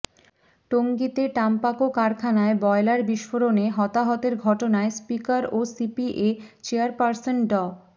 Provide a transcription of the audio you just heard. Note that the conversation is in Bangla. টঙ্গীতে টাম্পাকো কারখানায় বয়লার বিস্ফোরণে হতাহতের ঘটনায় স্পিকার ও সিপিএ চেয়ারপার্সন ড